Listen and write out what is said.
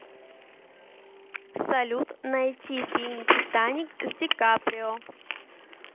салют найти фильм титаник с ди каприо